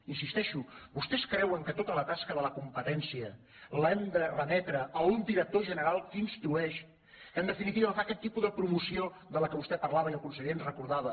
hi insisteixo vostès creuen que tota la tasca de la competència l’hem de remetre a un director general que instrueix que en definitiva fa aquest tipus de pro·moció de què vostè parlava i el conseller ens recorda·va